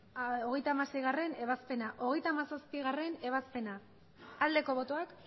hogeita hamaseigarrena ebazpena hogeita hamazazpigarrena ebazpena aldeko botoak